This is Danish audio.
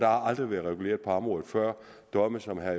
aldrig været reguleret på området før domme som herre